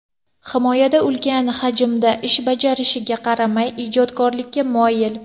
Himoyada ulkan hajmda ish bajarishiga qaramay, ijodkorlikka moyil.